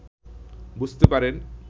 বুঝতে পারেন